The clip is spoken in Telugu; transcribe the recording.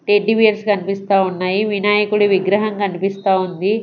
టెడ్డి బియర్స్ కనిపిస్తా ఉన్నాయి వినాయకుడి విగ్రహం కనిపిస్తా ఉంది.